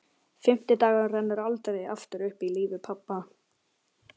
Fimmti dagurinn rennur aldrei aftur upp í lífi pabba.